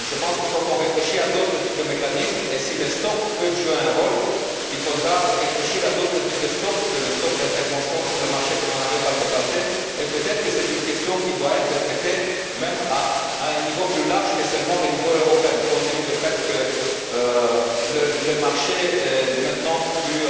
Je pense qu'il faut qu'on réfléchisse à d'autres types de mécanismes et, si les stocks peuvent jouer un rôle, il faudra réfléchir à d'autres types de stocks que le stock d'intervention sur le marché que l'on avait par le passé, et peut être est ce une question qui doit être traitée à un niveau même plus large que le niveau européen seulement, compte tenu du fait que le marché est maintenant plus